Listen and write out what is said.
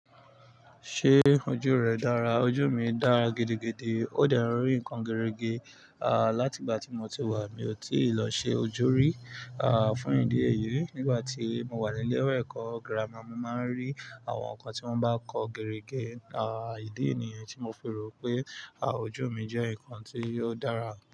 Ṣé ojú rẹ dára? Ojú mi dára gidigidi, ó dẹ n rí nǹkan gerege. Láti ìgbà tí mo ti wà, mi ò tí lọ ṣe ojú rí, fún ìdí èyí. Nígbà tí mo wà ní ilé ẹ̀kọ́ gírámà, mo máa ń rí àwọn nǹkan tí wọ́n bá ń kọ gerege. Idí nìyi tí mo fi rò pé, ojú mi jẹ́ nǹkan tí yóò dára.